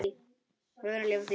Við verðum leið á því.